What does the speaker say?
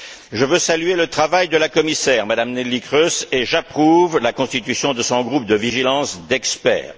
Je veux saluer le travail de la commissaire, Mme Neelie Kroes, et j'approuve la constitution de son groupe de vigilance composé d'experts.